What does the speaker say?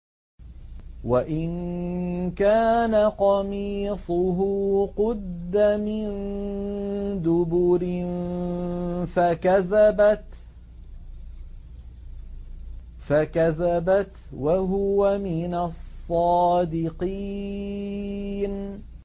وَإِن كَانَ قَمِيصُهُ قُدَّ مِن دُبُرٍ فَكَذَبَتْ وَهُوَ مِنَ الصَّادِقِينَ